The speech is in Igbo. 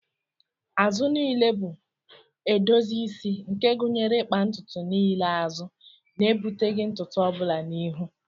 Azụ niile bụ edozi isi nke gụnyere ịkpa ntutu niile azụ, na-ebuteghị ntutu ọbụla n'ihu.